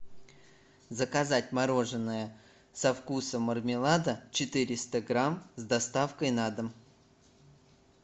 заказать мороженое со вкусом мармелада четыреста грамм с доставкой на дом